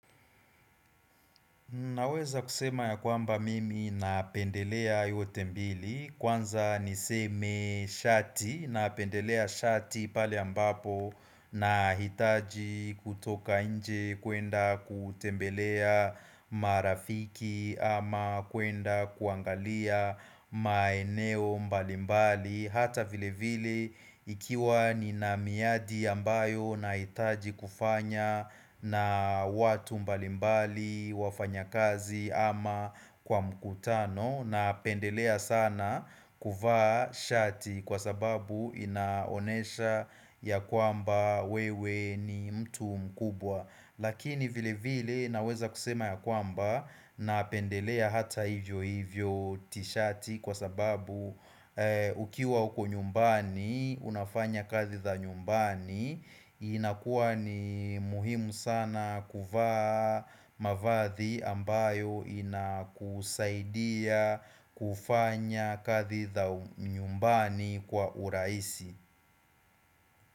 Naweza kusema ya kwamba mimi napendelea yote mbili kwanza niseme shati na pendelea shati pale ambapo nahitaji kutoka nje kuenda kutembelea marafiki ama kuenda kuangalia maeneo mbalimbali Hata vile vile ikiwa ni na miradi ambayo na itaji kufanya na watu mbalimbali wafanya kazi ama kwa mkutano napendelea sana kuvaa shati kwa sababu inaonyesha ya kwamba wewe ni mtu mkubwa Lakini vile vile naweza kusema ya kwamba napendelea hata hivyo hivyo tishati kwa sababu ukiwa huko nyumbani unafanya kazi za nyumbani inakuwa ni muhimu sana kuvaa mavazi ambayo inakusaidia kufanya kazi za nyumbani kwa urahisi.